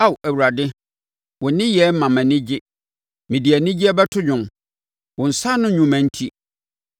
Ao Awurade, wo nneyɛɛ ma mʼani gye; mede anigyeɛ bɛto dwom, wo nsa ano nnwuma enti.